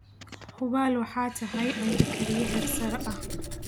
Hubaal waxaad tahay cunto kariye heersare ah